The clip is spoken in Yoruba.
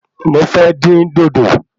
Mo fẹ́ dín dòdò